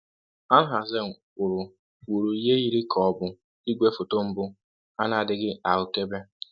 Alhazen wuru ihe yiri ka ọ bụ igwefoto mbụ a na-adịghị ahụkebe